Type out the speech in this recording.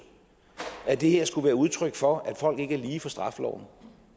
at det her skulle være udtryk for at folk ikke er lige for straffeloven